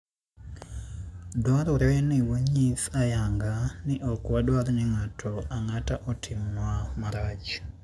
Dwarore ni wanyis ayanga ni ok wadwar ni ng'ato ang'ata otimnwa marach.